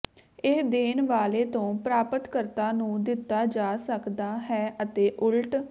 ਇਹ ਦੇਣ ਵਾਲੇ ਤੋਂ ਪ੍ਰਾਪਤਕਰਤਾ ਨੂੰ ਦਿੱਤਾ ਜਾ ਸਕਦਾ ਹੈ ਅਤੇ ਉਲਟ